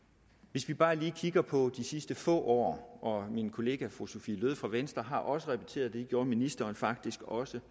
hvis vi bare lige kigger på de sidste få år min kollega fru sophie løhde fra venstre har også repeteret det gjorde ministeren faktisk også